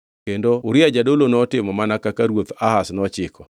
Kendo Uria jadolo notimo mana kaka ruoth Ahaz nochiko.